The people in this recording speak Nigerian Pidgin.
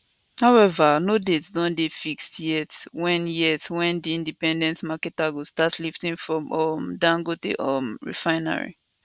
however no date don dey fixed yet wen yet wen di independent marketers go start lifting from um dangote um refinery